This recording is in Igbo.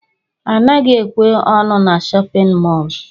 Anaghị ekwe ọnụ n' shóppin mol.